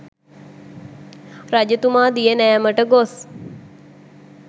රජතුමා දිය නෑමට ගොස්